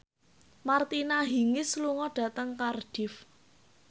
Martina Hingis lunga dhateng Cardiff